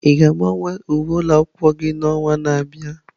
Ị ga-agbanwe uwe ụlọ akwụkwọ gị n'ọnwa na-abịa?